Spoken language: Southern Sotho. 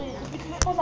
di a emelwa o ka